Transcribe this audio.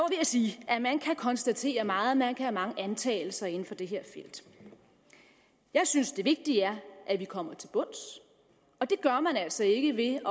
at sige at man kan konstatere meget man kan have mange antagelser inden for det her felt jeg synes det vigtige er at vi kommer til bunds og det gør man altså ikke ved